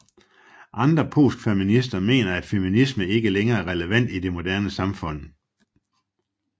Andre postfeminister mener at feminisme ikke længere er relevant i det moderne samfund